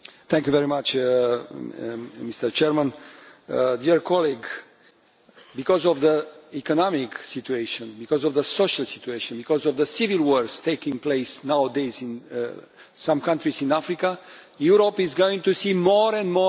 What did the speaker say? Because of the economic situation, because of the social situation, because of the civil wars taking place nowadays in some countries in Africa, Europe is going to see more and more people trying to come to Europe in the years ahead especially from Africa.